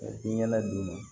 I ɲɛna d'u ma